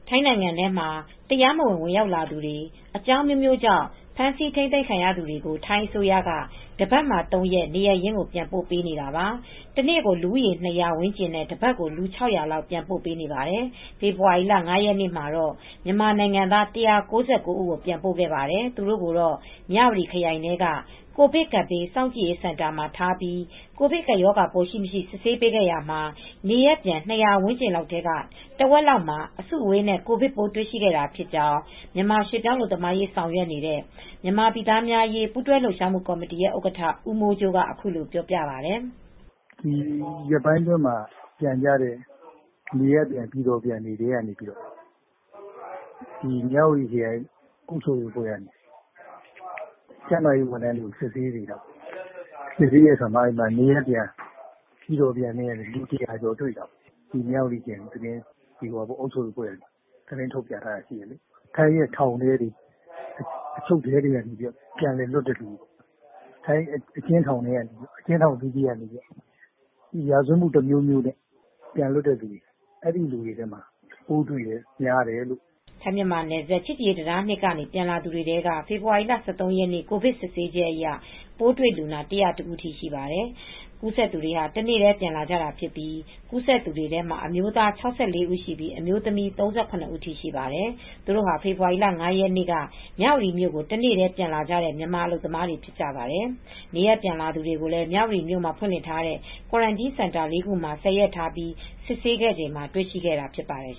ထိုင်းနိုင်ငံထဲမှာ တရားမဝင်ဝင်ရောက်လာသူတွေ အကြောင်းအမျိုးမျိုးကြောင့် ဖမ်းဆီးထိမ်းသိမ်းခံရသူတွေ ကို ထိုင်းအစိုးရက တပတ်မှာ ၃ရက် နေရပ်ရင်းကိုပြန်ပို့နေတာပါ။ တနေ့ကို လူဦးရေ ၂ဝဝ ဝန်းကျင်နဲ့ တပတ်ကို လူ၆ဝဝလောက် ပြန်ပို့ပေးနေပါတယ် ။ဖေဖေါ်ဝါရီလ ၅ရက်နေ့ကတော့ မြန်မာနိုင်ငံသား၁၉၉ဦး ကို ပြန်ပို့ခဲ့ပါတယ် ။ သူတို့ကိုတော့ မြဝတီခရိုင်ထဲက ကိုဗစ်ကပ်ဘေး စောင့်ကြည့်ရေးစင်တာ မှာ ထားပြီး ကိုဗစ်ကပ်ရောဂါပိုးရှိမရှိ စစ်ဆေးပေးခဲ့ရာမှာ နေရပ်ပြန် ၂၀၀ ဝန်းကျင်းထဲက တဝက်လောက်မှာ အစုအဝေးနဲ့ ကိုဗစ်ပိုးတွေ့ရှိခဲ့တာဖြစ်ကြောင်း မြန်မာရွှေ့ပြောင်းအလုပ်သမားရေး ဆောင်ရွက်နေတဲ့ မြန်မာပြည်သားများအရေး ပူးတွဲလှုပ်ရှားမူ့ကော်မတီရဲ့ဥက္ကဌဦးမိုးကြိုးက အခုလိုပြောပြပါတယ်။ " ဒီရက်ပိုင်းအတွင်း ပြန်ကြတဲ့ပြည်တော်ပြန် နေရပ်ပြန်ကြသူတွေကို မြဝတီခရိုင် အုပ်ချုပ်ရေးအဖွဲ့ ကျန်းမာရေးဝန်ထမ်းတွေက စစ်ဆေးရာ နေရပ်ပြန်တွေထဲက ကိုဗစ်ဖြစ်တဲ့ လူ၁ဝဝကျော်တွေ့ပါတယ် ။ မြဝတီခရိုင်အုပ်ချုပ်ရေးအဖွဲ့ကသတင်းထုတ်ပြန်ထားတာတွေ့တယ်။ ထိုင်းရဲ့ထောင်ထဲတွေ အချုပ်တွေထဲက ပြန်လွတ်လာသူတွေ အကျဉ်းထောင်တွေထဲက ရာဇဝတ်မူ အမျိုးမျိုးတွေနဲ့ ပြန်လာသူတွေထဲက ပိုးတွေ့တဲ့သူတွေများတယ်" ထိုင်းမြန်မာနယ်စပ် ချစ်ကြည်ရေးအမှတ်(၂) တံတားကနေ ပြန်လာသူတွေထဲက ဖေဖေါ်ဝါရီလ ၁၃ရက်နေ့ ကိုဗစ်စစ်ဆေးချက်အရ ပိုးတွေ့လူနာ၁ဝ၁ဦးထိရှိပါတယ် ။ ကူးစက်သူတွေဟာ တနေ့တည်းပြန်လာကြတာဖြစ်ပြီး ကူးစက်သူတွေထဲမှာ အမျိုးသား ၆၄ဦးရှိပြီး အမျိုးသမီး ၃၇ဦးထိရှိပါတယ် ။ သူတို့ဟာဖေဖေါ်ဝါရီလ ၅ရက်နေ့ က မြဝတီမြို့ကို တနေ့တည်းပြန်လာကြတဲ့ မြန်မာအလုပ်သမားတွေဖြစ်ကြပါတယ် ။ နေရပ်ပြန်လာသူတွေကိုလည်း မြဝတီနယ်စပ်မှာ ဖွင့်လှစ်ထားတဲ့ Quarentine Center (၄)ခုမှာ (၁ဝ) ရက်ထားပြီး စစ်ဆေးခဲ့ချိန်မှာတွေ့ရှိခဲ့တာဖြစ်ပါတယ်